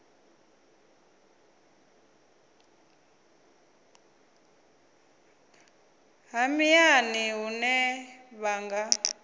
ha miṱani hune vha nga